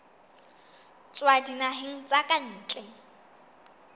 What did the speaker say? tswa dinaheng tsa ka ntle